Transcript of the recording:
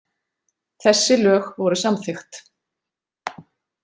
Þessi lög voru samþykkt.